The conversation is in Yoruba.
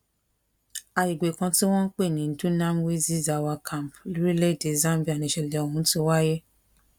àgbègbè kan tí wọn ń pè ní dunamwezi zawa camp lórílẹèdè zambia nìṣẹlẹ ọhún ti wáyé